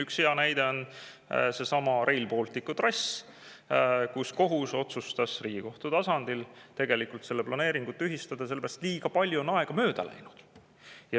Üks hea näide on seesama Rail Balticu trass: kohus otsustas Riigikohtu tasandil selle planeeringu tühistada sellepärast, et liiga palju aega on mööda läinud.